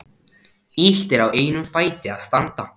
Illt er á einum fæti að standa.